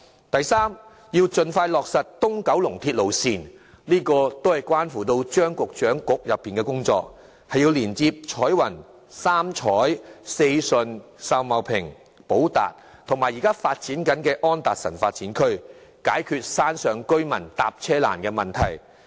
第三，盡快落實東九龍鐵路線，這些是關乎張局長局內的工作，要連接彩雲、三彩、四順、秀茂坪、寶達及現正發展的安達臣發展區，以解決山上居民乘車困難的問題。